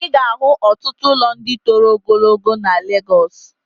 I ga-ahụ ọtụtụ ụlọ ndị toro ogologo na Legọs.